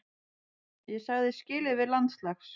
Ég sagði skilið við landslags